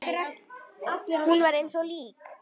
Hún var eins og lík.